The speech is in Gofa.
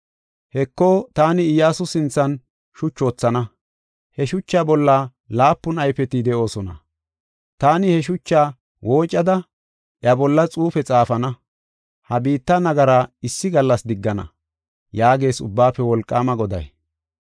Heko, taani Iyyasu sinthan shuchu wothana; he shucha bolla laapun ayfeti de7oosona. Taani he shuchaa woocada iya bolla xuufe xaafana; ha biitta nagara issi gallas diggana” yaagees Ubbaafe Wolqaama Goday.